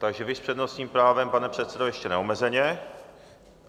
Takže vy s přednostním právem, pane předsedo, ještě neomezeně.